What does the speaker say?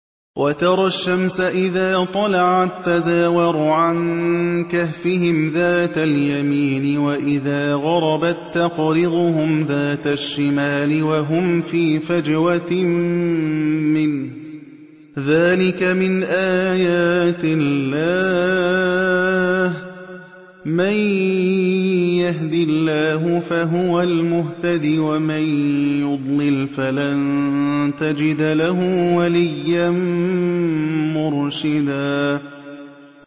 ۞ وَتَرَى الشَّمْسَ إِذَا طَلَعَت تَّزَاوَرُ عَن كَهْفِهِمْ ذَاتَ الْيَمِينِ وَإِذَا غَرَبَت تَّقْرِضُهُمْ ذَاتَ الشِّمَالِ وَهُمْ فِي فَجْوَةٍ مِّنْهُ ۚ ذَٰلِكَ مِنْ آيَاتِ اللَّهِ ۗ مَن يَهْدِ اللَّهُ فَهُوَ الْمُهْتَدِ ۖ وَمَن يُضْلِلْ فَلَن تَجِدَ لَهُ وَلِيًّا مُّرْشِدًا